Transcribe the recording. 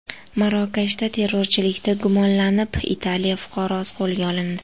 Marokashda terrorchilikda gumonlanib, Italiya fuqarosi qo‘lga olindi.